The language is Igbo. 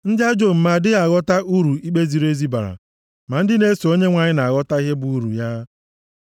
Ndị ajọ omume adịghị aghọta uru ikpe ziri ezi bara, ma ndị na-eso Onyenwe anyị na-aghọta ihe bụ uru ya.